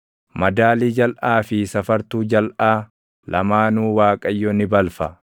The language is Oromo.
Madaalii jalʼaa fi safartuu jalʼaa lamaanuu Waaqayyo ni balfa.